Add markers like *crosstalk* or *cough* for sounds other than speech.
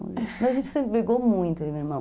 *laughs* Mas a gente sempre brigou muito, eu e o meu irmão.